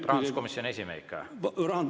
Rahanduskomisjoni esimehe ikka?